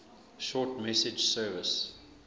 short message service